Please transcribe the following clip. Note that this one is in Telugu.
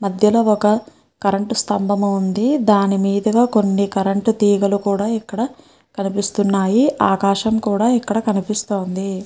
మద్యలో ఒక కరెంట్ స్తంబం ఉంది. దాని మీద గ కొన్ని కరెంట్ తీగలు కూడా ఇక్కడ కనిపిస్తున్నాయి. ఆకాశం కూడా ఇక్కడ కనిపిస్తోంది.